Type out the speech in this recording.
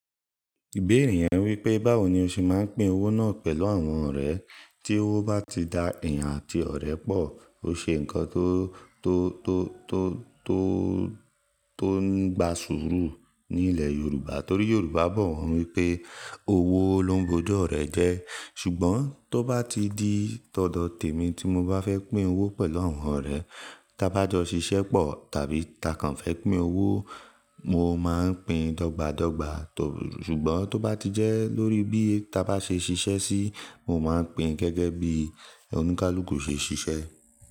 Ìbéèrè yẹn wípé báwo ni o ṣe máa ń pín owó náà pẹ̀lú àwọn ọ̀rẹ́. Tí owó bá ti da ẹ̀yàn àti ọ̀rẹ́ pọ̀. Ó ṣe ńkan tó, tó, tó, tó, tó, tó ngba sùúrù ní ilẹ̀ Yorùbá torí Yorùbá bọ̀ wọ́n wípé owó lóń bò ju orẹ̀ jẹ. Ṣùgbọ́n tó bá ti di tọ̀dọ̀ tèmi tí mo bá fẹ́ pín owó pẹ̀lú àwọn ọ̀rẹ́, ta bá jọ ṣiṣẹ́ pọ̀ tàbí ta kàn fẹ́ pín owó, mo máa ń pín dọ́gba dọ́gba. Ṣùgbọ́n tó bá ti jẹ́ lórí bí ta bá ṣe ṣiṣẹ́ sí, mo máa ń pín gẹ́gẹ́ bí oníkálukú ṣe ṣiṣẹ́.